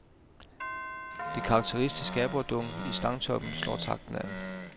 De karakteristiske aborredunk i stangtoppen slår takten an.